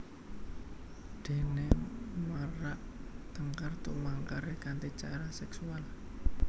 Déné merak tangkar tumangkaré kanthi cara seksual